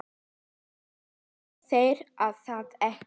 Eða vitið þér það ekki.